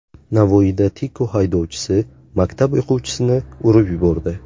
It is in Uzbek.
Navoiyda Tiko haydovchisi maktab o‘quvchisini urib yubordi.